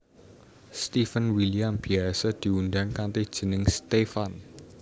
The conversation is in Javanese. Steven William biyasa diundang kanthi jeneng Stefan